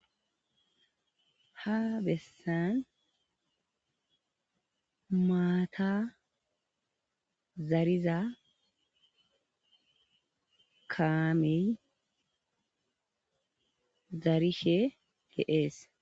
Ha bessan maata zariza kaamey zarishe d'ees.